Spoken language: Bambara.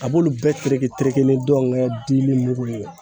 A b'olu bɛɛ tereke tereke ni dɔngɛ dimi mugu ye